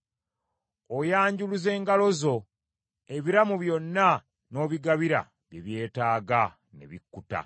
Oyanjuluza engalo zo, ebiramu byonna n’obigabira bye byetaaga ne bikkuta.